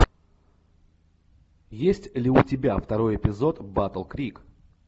есть ли у тебя второй эпизод батл крик